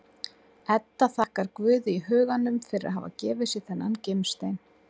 Edda þakkar Guði í huganum fyrir að hafa gefið sér þennan gimstein.